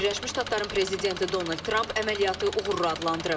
Birləşmiş Ştatların prezidenti Donald Tramp əməliyyatı uğurlu adlandırıb.